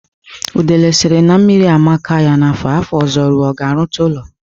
Udele sịrị na mmiri amaka ya n'afọ a, afọ ọzọ rụọ, ọ ga-arụta ụlọ?